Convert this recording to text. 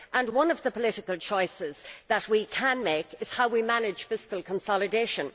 One of the political choices that we can make is how we manage fiscal consolidation.